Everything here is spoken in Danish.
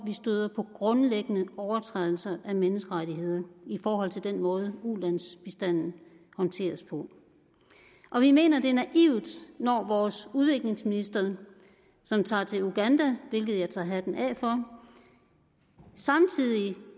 støder på grundlæggende overtrædelser af menneskerettigheder i forhold til den måde ulandsbistanden håndteres på og vi mener det er naivt når vores udviklingsminister som tager til uganda hvilket jeg tager hatten af for samtidig